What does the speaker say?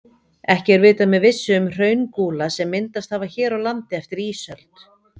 Ekki er vitað með vissu um hraungúla sem myndast hafa hér á landi eftir ísöld.